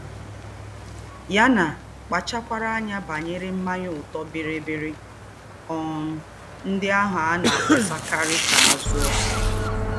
yánà Kpàchárákwá ányá bànyéré ḿmányá ọ̀tọ́ bííríbíírí um ndí́ àhù a nà-àkpósákárí ka à zúò